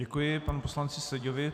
Děkuji panu poslanci Seďovi.